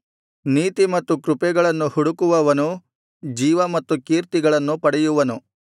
ನೀತಿ ಮತ್ತು ಕೃಪೆಗಳನ್ನು ಹುಡುಕುವವನು ಜೀವ ಮತ್ತು ಕೀರ್ತಿಗಳನ್ನು ಪಡೆಯುವನು